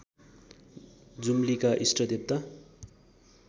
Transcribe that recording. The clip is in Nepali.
जुम्लीका इष्ट देवता